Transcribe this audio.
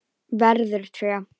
Verður tré.